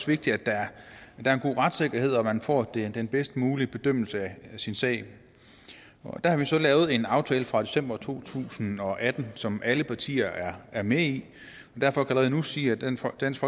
vigtigt at der er en god retssikkerhed og at man får den bedst mulige bedømmelse af sin sag der har vi så lavet en aftale fra december to tusind og atten som alle partier er med i og derfor kan jeg allerede nu sige at dansk dansk